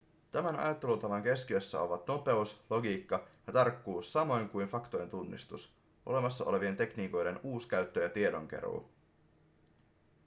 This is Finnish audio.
tämän ajattelutavan keskiössä ovat nopeus logiikka ja tarkkuus samoin kuin faktojen tunnistus olemassa olevien tekniikoiden uuskäyttö ja tiedonkeruu